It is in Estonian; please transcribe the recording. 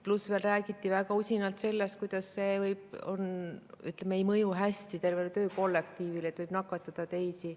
Veel räägiti väga usinalt sellest, kuidas see ei mõju hästi töökollektiivile, võib nakatada teisi.